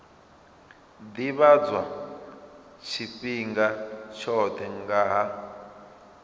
ḓivhadzwa tshifhinga tshoṱhe nga ha